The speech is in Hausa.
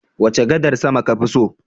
Wace gadar sama kafi so?